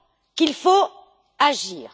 Qu'il faut agir.